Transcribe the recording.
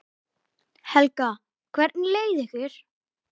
Helga: Hvernig leið ykkur?